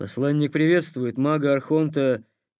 послание приветствует мага архонта